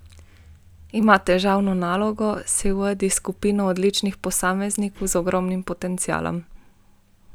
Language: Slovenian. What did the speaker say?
Ima težavno nalogo, saj vodi skupino odličnih posameznikov z ogromnim potencialom.